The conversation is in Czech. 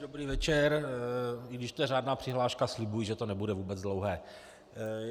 Dobrý večer, i když to je řádná přihláška, slibuji, že to nebude vůbec dlouhé.